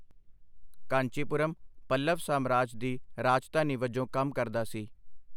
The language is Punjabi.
ਕਾਂਚੀਪੁਰਮ ਪੱਲਵ ਸਾਮਰਾਜ ਦੀ ਰਾਜਧਾਨੀ ਵਜੋਂ ਕੰਮ ਕਰਦਾ ਸੀ।